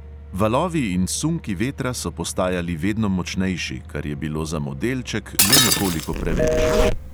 Valovi in sunki vetra so postajali vedno močnejši, kar je bilo za modelček le nekoliko preveč.